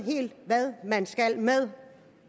hvad man skal med